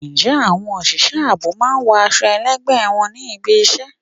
Ǹjẹ́ àwọn òṣìṣẹ́ ààbò máa ń wọ aṣọ ẹlẹgbẹ wá sí ibi ìṣe?